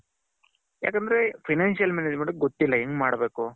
ಯಾಕಂದ್ರೆ financial management ಗೊತ್ತಿಲ್ಲ ಎಂಗೆ ಮಾಡ್ಬೇಕು.